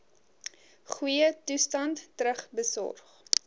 goeie toestand terugbesorg